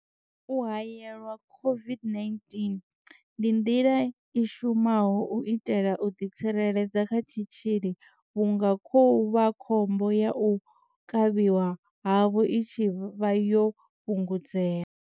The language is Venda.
U haelelwa COVID-19 ndi nḓila i shumaho u itela u ḓi tsireledza kha tshitzhili vhunga khovhakhombo ya u kavhiwa havho i tshi vha yo fhungudzea.